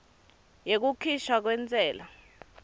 yekukhishwa kwentsela